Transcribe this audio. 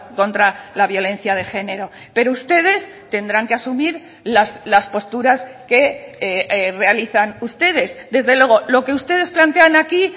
contra la violencia de género pero ustedes tendrán que asumir las posturas que realizan ustedes desde luego lo que ustedes plantean aquí